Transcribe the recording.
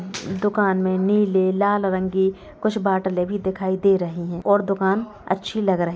दुकानों में नीले लाल रंग की कुछ बोतले भी दिखाई दे रही है और दुकान अच्छी लग रही--